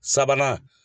Sabanan